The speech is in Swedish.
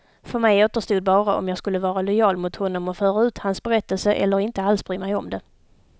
För mig återstod bara om jag skulle vara lojal mot honom och föra ut hans berättelse, eller inte alls bry mig om det.